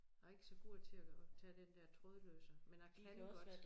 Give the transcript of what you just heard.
Jeg ikke så god til at tage den der trådløse men jeg kan godt